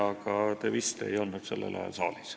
Aga te vist ei olnud sellel ajal saalis.